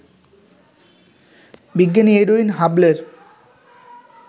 বিজ্ঞানী এডুইন হাবলের